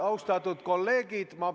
Austatud kolleegid!